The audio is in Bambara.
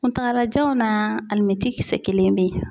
Kuntagalajanw na alimɛti kisɛ kelen bɛ ye.